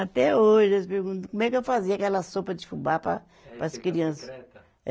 Até hoje, eles perguntam como é que eu fazia aquela sopa de fubá para, para as crianças. É.